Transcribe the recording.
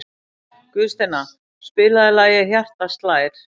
Guðsteina, spilaðu lagið „Hjartað slær“.